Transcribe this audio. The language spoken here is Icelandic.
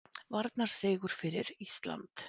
Varnarsigur fyrir Ísland